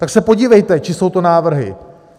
Tak se podívejte, čí jsou to návrhy.